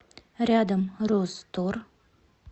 рядом розтор